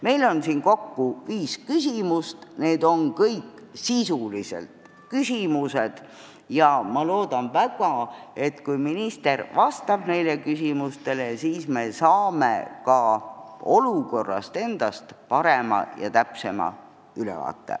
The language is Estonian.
Meil on siin kokku viis küsimust, need on kõik sisulised, ning ma loodan väga, et kui minister neile vastab, siis me saame ka olukorrast endast parema ja täpsema ülevaate.